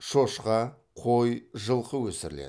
шошқа қой жылқы өсіріледі